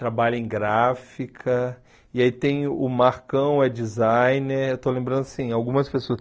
trabalha em gráfica, e aí tem o Marcão, é designer, eu estou lembrando, assim, algumas pessoas.